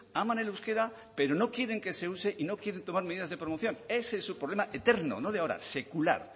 aman el euskera pero no quieren que se use y no quieren tomar medidas de promoción ese es su problema eterno no de ahora secular